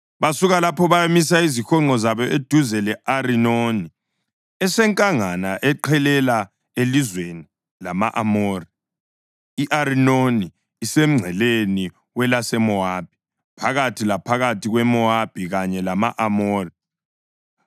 Basuka lapho bayamisa izihonqo zabo eduze le-Arinoni esenkangala eqhelela elizweni lama-Amori. I-Arinoni isemngceleni welaseMowabi, phakathi laphakathi kweMowabi kanye lama-Amori.